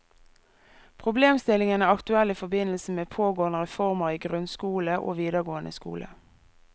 Problemstillingen er aktuell i forbindelse med pågående reformer i grunnskole og videregående skole.